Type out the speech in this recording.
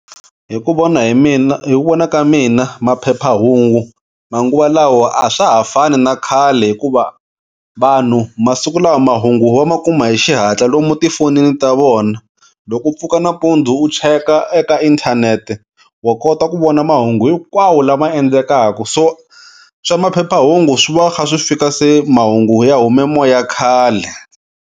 Hi ku vona hi mina hi ku vona ka mina maphephahungu manguva lawa a swa ha fani na khale hikuva vanhu masiku lama mahungu va ma kuma hi xihatla lomu tifonini ta vona. Loko u pfuka nanampundzu u cheka eka inthanete, wa kota ku vona mahungu hikwawo lama endlekaku so swa maphephahungu swi va kha swi fika se mahungu ya hume moya khale.